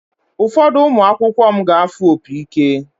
Ụfọdụ ụmụ akwụkwọ m ga-afụ opi ike.